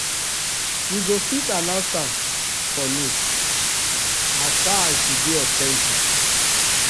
we go fit announce am for um news um as far as as far as e dey authentic um